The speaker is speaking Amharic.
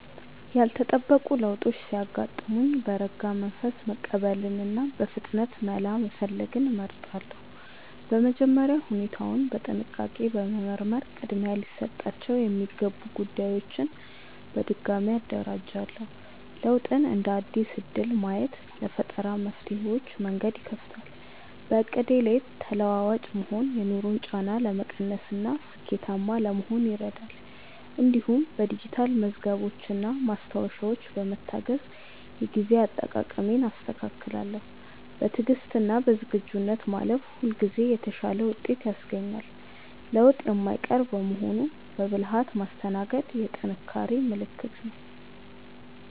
ያልተጠበቁ ለውጦች ሲያጋጥሙኝ በረጋ መንፈስ መቀበልንና በፍጥነት መላ መፈለግን እመርጣለሁ። በመጀመሪያ ሁኔታውን በጥንቃቄ በመመርመር ቅድሚያ ሊሰጣቸው የሚገቡ ጉዳዮችን በድጋሚ አደራጃለሁ። ለውጥን እንደ አዲስ እድል ማየት ለፈጠራ መፍትሄዎች መንገድ ይከፍታል። በዕቅዴ ላይ ተለዋዋጭ መሆን የኑሮን ጫና ለመቀነስና ስኬታማ ለመሆን ይረዳል። እንዲሁም በዲጂታል መዝገቦችና ማስታወሻዎች በመታገዝ የጊዜ አጠቃቀሜን አስተካክላለሁ። በትዕግስትና በዝግጁነት ማለፍ ሁልጊዜ የተሻለ ውጤት ያስገኛል። ለውጥ የማይቀር በመሆኑ በብልሃት ማስተናገድ የጥንካሬ ምልክት ነው።